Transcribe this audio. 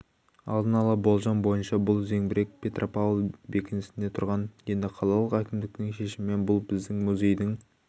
алдын ала болжам бойынша бұл зеңбірек петропавл бекінісінде тұрған енді қалалық әкімдіктің шешімімен бұл біздің музейдің